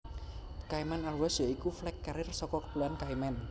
Cayman Airways ya iku flag carrier saka Kepulauan Cayman